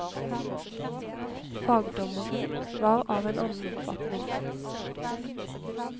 Fagdommeren var av en annen oppfatning.